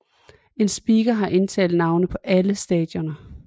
En speaker har indtalt navne på alle stationer